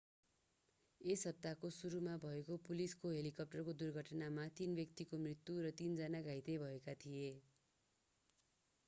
यस हप्ताको सुरुमा भएको पुलिसको हेलिकप्टर दुर्घटनामा तीन व्यक्तिको मृत्यु र तीन जना घाइते भएका थिए